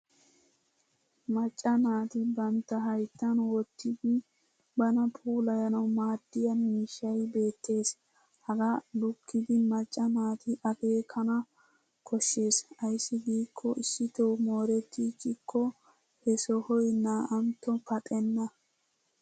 Macca naati bantta hayttan wottidi bana puulayanawu maaddiya miishshay beettes. Hagaa lukkiiddi macca naati akeekana koshshes ayssi giikko issitoo moorettiichchikko he sohoy naa'antto paxenna.